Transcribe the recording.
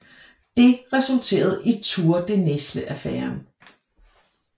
Det resulterede i Tour de Nesle Affæren